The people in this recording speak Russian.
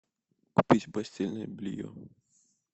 купить постельное белье